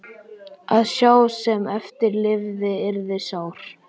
Að sá sem eftir lifði yrði sár.